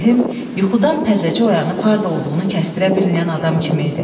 Ağa Rəhim yuxudan təzəcə oyanıb harda olduğunu kəstdirə bilməyən adam kimi idi.